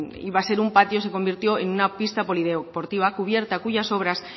iba a ser un patio se convirtió en una pista polideportiva cubierta cuyas obras